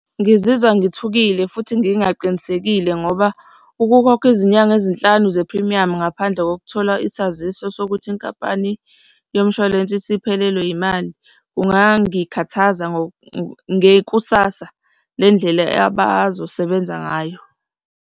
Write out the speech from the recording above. Ngizizwa ngithukile futhi ngingaqinisekile ngoba ukukhokha izinyanga ezinhlanu zephrimiyamu ngaphandle kokuthola isaziso sokuthi inkampani yomshwalense isiphelelwe imali, kungangikhathaza ngekusasa lendlela abazosebenza ngayo.